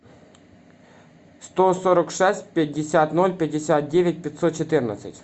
сто сорок шесть пятьдесят ноль пятьдесят девять пятьсот четырнадцать